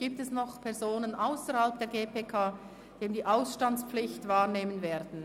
Gibt es noch Personen ausserhalb der GPK, die die Ausstandspflicht wahrnehmen werden?